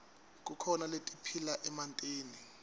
kukhona letiphila emantini